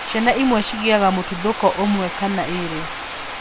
Ciana imwe cigĩaga mũtuthũko ũmwe kana ĩrĩ.